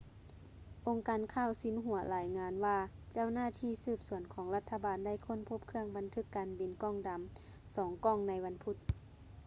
ອົງການຂ່າວຊິນຫົວລາຍງານວ່າເຈົ້າໜ້າທີ່ສືບສວນຂອງລັດຖະບານໄດ້ຄົ້ນພົບເຄື່ອງບັນທຶກການບິນ ກ່ອງດຳ ສອງກ່ອງໃນວັນພຸດ